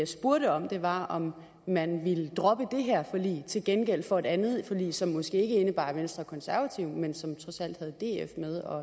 spurgte om var om man ville droppe det her forlig til gengæld for et andet forlig som måske ikke indebar venstre og konservative men som trods alt havde df